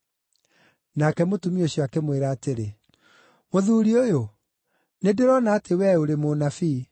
Nake mũtumia ũcio akĩmwĩra atĩrĩ, “Mũthuuri ũyũ, nĩndĩrona atĩ wee ũrĩ mũnabii.